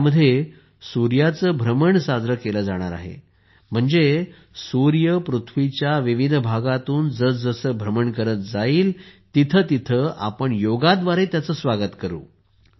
यामध्ये सूर्याचे भ्रमण साजरे केले जाईल म्हणजेच सूर्य पृथ्वीच्या विविध भागातून जसे जसे भ्रमण करत जाईल तिथे तिथे आपण योगाद्वारे त्याचे स्वागत करू